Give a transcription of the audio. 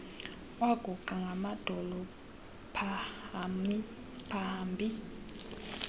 waguqa ngamadolo pahambi